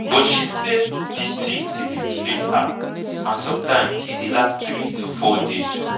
but she say di tin dey humiliate her and sometimes e dey last three to four days.